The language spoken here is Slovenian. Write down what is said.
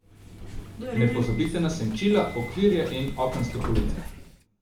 Ne pozabite na senčila, okvirje in okenske police!